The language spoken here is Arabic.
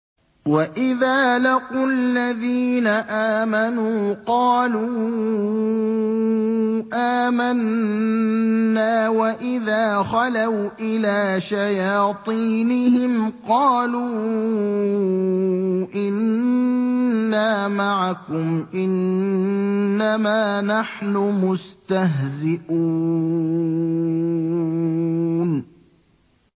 وَإِذَا لَقُوا الَّذِينَ آمَنُوا قَالُوا آمَنَّا وَإِذَا خَلَوْا إِلَىٰ شَيَاطِينِهِمْ قَالُوا إِنَّا مَعَكُمْ إِنَّمَا نَحْنُ مُسْتَهْزِئُونَ